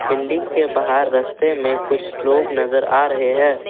Building के बाहर रस्ते में कुछ लोग नज़र आ रहे हैं।